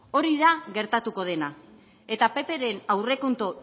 hori da gertatuko dena eta ppren aurrekontu